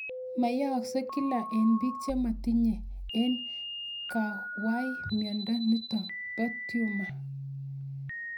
Mayaakse kila eng' pik chematinye eng' kang'wai miondo nitok po tumor